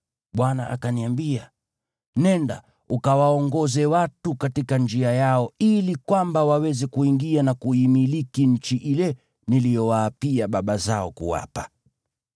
Bwana akaniambia, “Nenda, ukawaongoze watu katika njia yao ili kwamba waweze kuingia na kuimiliki nchi ile niliyowaapia baba zao kuwapa.”